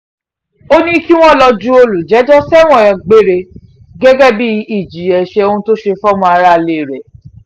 ó ní kí wọ́n lọ́ọ́ ju olùjẹ́jọ́ sẹ́wọ̀n gbére gẹ́gẹ́ bíi ìjìyà ẹ̀ṣẹ̀ ohun tó ṣe fọ́mọ aráalé rẹ̀